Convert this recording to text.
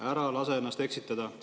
Ära lase ennast eksitada!